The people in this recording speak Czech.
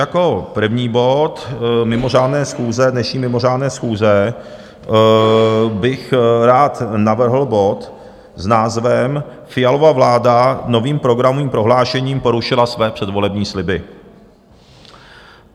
Jako první bod mimořádné schůze, dnešní mimořádné schůze, bych rád navrhl bod s názvem Fialova vláda novým programovým prohlášením porušila své předvolební sliby.